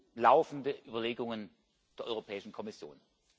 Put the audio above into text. gleichlaufende Überlegungen der Europäischen Kommission.